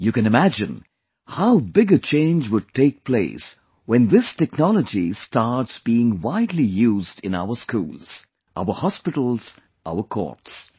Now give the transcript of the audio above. You can imagine how big a change would take place when this technology starts being widely used in our schools, our hospitals, our courts